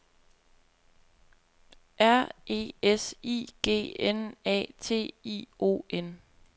R E S I G N A T I O N